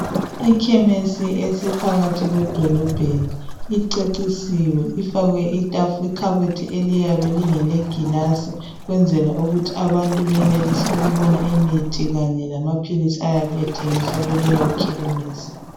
Ikhemesi ephakathi kwedolobho icecisiwe ifakwe ikhabothi eliyabe lingelegilasi ukwenzela ukuthi abantu benelise ukubona imithi kanye lamaphilisi ayabe ethengiswa kuleyo khemesi.